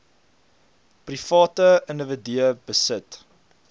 private individue besit